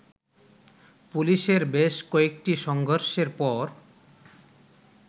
পুলিশের বেশ কয়েকটি সংঘর্ষের পর